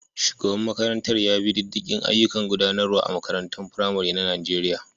Shugaban makarantar ya bi diddigin ayyukan gudanarwa a makarantar firamare ta Najeriya.